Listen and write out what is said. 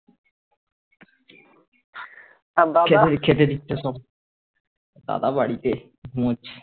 খেতে খেতে দিচ্ছে সব দাদা বাড়িতে ঘুমোচ্ছে